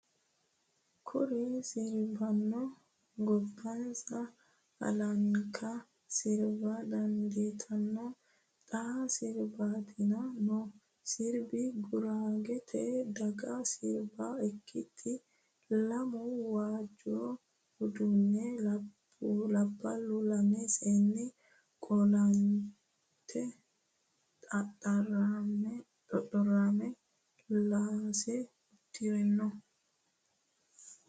Kuri sirbano gobbaniha baallanka sirba dandiittano xa sirbittanni no sirbi guragete daga sirbi akatati lamu waajore udidhe labballu lame seenni qolanoti xoxorama laase udire no.